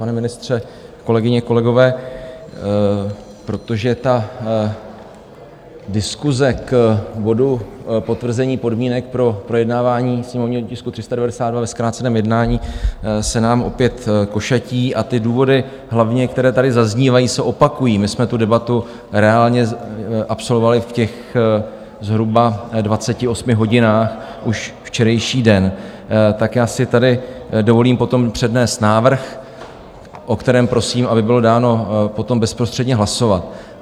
Pane ministře, kolegyně, kolegové, protože ta diskuse k bodu Potvrzení podmínek pro projednávání sněmovního tisku 392 ve zkráceném jednání se nám opět košatí a ty důvody hlavně, které tady zaznívají, se opakují, my jsme tu debatu reálně absolvovali v těch zhruba 28 hodinách už včerejší den, tak já si tady dovolím potom přednést návrh, o kterém prosím, aby bylo dáno potom bezprostředně hlasovat.